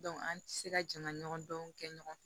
an tɛ se ka jama ɲɔgɔn dɔnw kɛ ɲɔgɔn fɛ